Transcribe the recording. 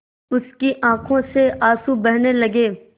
उसकी आँखों से आँसू बहने लगे